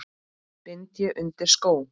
bind ég undir skó